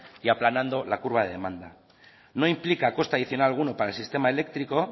y aplanando la curca de demanda no implica coste adicional alguno para el sistema eléctrico